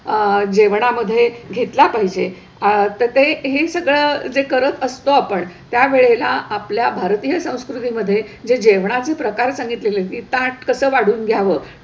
अह जेवणामध्ये घेतला पाहिजे अह तर ते हे सगळं जे करत असतो आपण, त्यावेळेला आपल्या भारतीय संस्कृतीमध्ये जे जेवणाचे प्रकार सांगितलेलेत की ताट कसं वाढून घ्यावं,